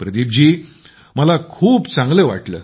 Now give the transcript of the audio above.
प्रदीप जी मला खूप चांगले वाटले